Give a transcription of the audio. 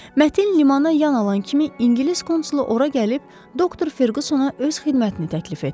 Mətin limana yana alan kimi İngilis konsulu ora gəlib Doktor Ferqüsona öz xidmətini təklif etdi.